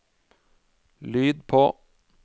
lyd på